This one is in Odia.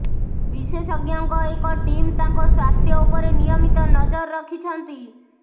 ବିଶେଷଜ୍ଞଙ୍କ ଏକ ଟିମ୍ ତାଙ୍କ ସ୍ୱାସ୍ଥ୍ୟ ଉପରେ ନିୟମିତ ନଜର ରଖିଛନ୍ତି